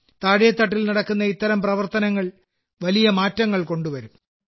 താഴെത്തട്ടിൽ നടത്തുന്ന ഇത്തരം പ്രവർത്തനങ്ങൾ വളരെ വലിയ മാറ്റങ്ങൾ കൊണ്ടുവരും